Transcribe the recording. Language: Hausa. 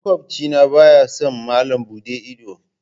Makwabci na baya son malam buɗe ido.